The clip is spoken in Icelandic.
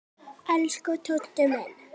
Elsku Tóti minn.